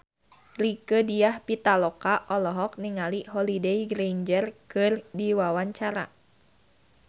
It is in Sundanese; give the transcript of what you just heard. Rieke Diah Pitaloka olohok ningali Holliday Grainger keur diwawancara